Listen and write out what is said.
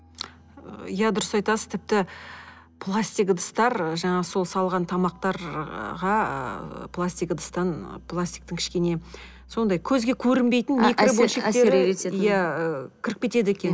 ы иә дұрыс айтасыз тіпті пластик ыдыстар жаңағы сол салған тамақтарға пластик ыдыстан пластиктың кішкене сондай көзге көрінбейтін иә ы кіріп кетеді екен